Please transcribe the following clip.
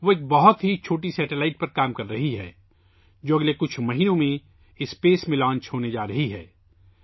وہ ایک بہت ہی چھوٹے سیٹلائٹ پر کام کررہی ہے، جو اگلے چند مہینوں میں خلا میں بھیجا جانے والا ہے